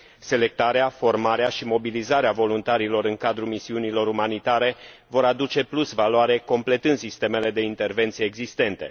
Selectarea, formarea și mobilizarea voluntarilor în cadrul misiunilor umanitare vor aduce plus valoare, completând sistemele de intervenție existente.